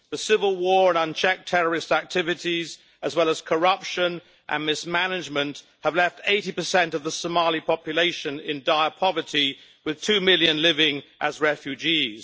The civil war and unchecked terrorist activities, as well as corruption and mismanagement, have left 80 of the Somali population in dire poverty, with two million living as refugees.